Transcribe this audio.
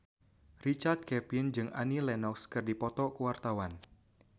Richard Kevin jeung Annie Lenox keur dipoto ku wartawan